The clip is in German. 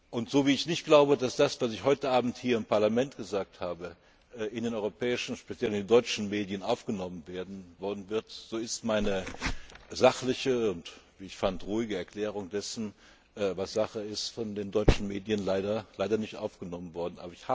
Und so wie ich nicht glaube, dass das, was ich heute Abend hier im Parlament gesagt habe, in den europäischen, speziell in den deutschen Medien aufgenommen werden wird, so ist meine sachliche und, wie ich fand, ruhige Erklärung dessen, was Sache ist, von den deutschen Medien leider nicht aufgenommen worden.